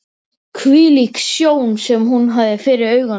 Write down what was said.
Hvílík sjón sem hún hafði fyrir augunum!